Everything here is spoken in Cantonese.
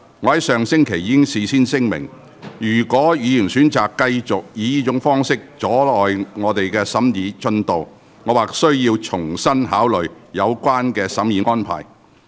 我上星期已事先聲明，若議員選擇繼續以這種方式阻礙本會審議《條例草案》的進度，我或須重新考慮有關的審議安排。